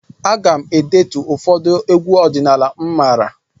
Aga m e detu ụfọdụ egwu ọdịnala m maara.